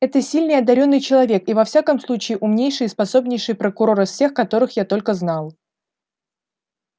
это сильный и одарённый человек и во всяком случае умнейший и способнейший прокурор из всех которых я только знал